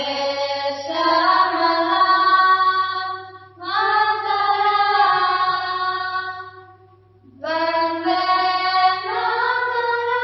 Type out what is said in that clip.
शस्यशामलां मातरम् वन्दे मातरम्